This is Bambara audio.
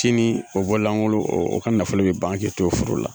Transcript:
Sini o bollankol o ka nafolo bi ban k'i t'o furu la.